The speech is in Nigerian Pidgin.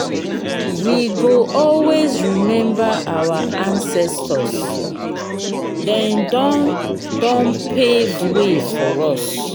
we go always remember our ancestors dem don don pave way for us.